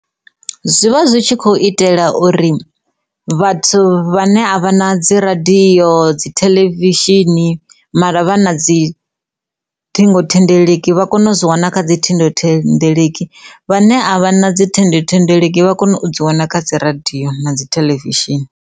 Zwivha zwi tshi khou itela uri vhathu vha ne a vha na dzi radiyo dzi theḽevishini mara vha na dzi ṱhingothendeleki vha kone u zwi wana kha dzi ṱhingo thendeleki vhane a vha na dzi ṱhingothendeleki vha kone u dzi wana kha dzi radiyo na dzi theḽevishini.